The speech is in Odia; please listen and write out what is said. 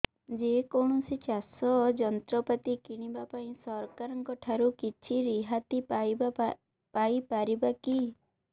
ଯେ କୌଣସି ଚାଷ ଯନ୍ତ୍ରପାତି କିଣିବା ପାଇଁ ସରକାରଙ୍କ ଠାରୁ କିଛି ରିହାତି ପାଇ ପାରିବା କି